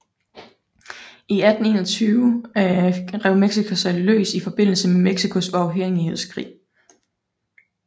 I 1821 rev Mexico sig løs i forbindelse med Mexicos uafhængighedskrig